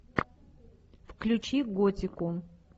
включи готику